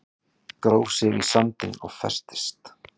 Gróf sig í sandinn og festist